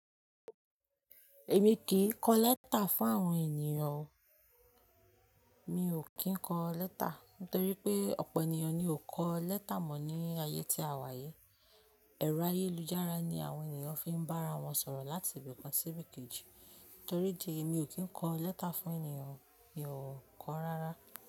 Èmi kì í kọ lẹ́tà fún àwọn ènìyàn o. Mi ò kí ń kọ lẹ́tà, ntorí pé ọ̀pọ̀ ènìyàn ni ò kọ lẹ́tà mọ̀ ní ayé tí à wà yìí. Ẹ̀rọ ayélujára ni àwọn ènìyàn fi ń bá ara wọn sọ̀rọ̀ láti ibìkan sí ibìkejì. Ntorí idí yii mi ò kí ń kọ lẹ́tà fún ènìyàn, mi ò kọ rárá.